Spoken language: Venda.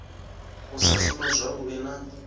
u sa shuma zwavhui na